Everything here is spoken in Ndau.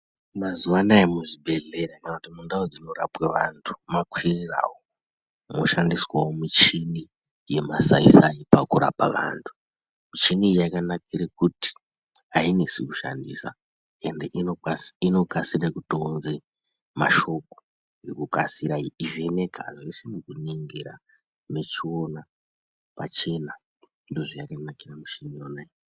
Mazuwa anaya muzvibhedhleya kana kuti mundau dzinorapwe vanthu makwirirawo, moshandiswawo michini yemasai sai pakurapa vanthu, michini iyi yakanakire kuti ainesi kushandisa ende inokasira kutounze mashoko ngekukasira, yeivheneka zveshe e nekuona mechiona pachena ndozvayakanakira michini iyona iyi.